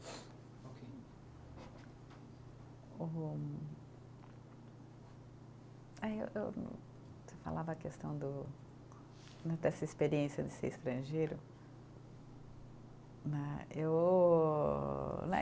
Ok. Você falava a questão do né dessa experiência de ser estrangeira né, eu né